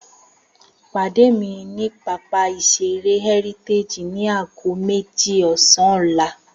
Pàdé mi ní pápá ìṣeré Heritage ni aago méjì ọ̀sán ọ́la!